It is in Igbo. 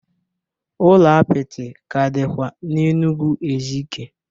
Ụlọ apịtị ka dịkwa n'Enugwu Ezike